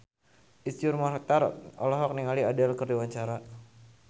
Iszur Muchtar olohok ningali Adele keur diwawancara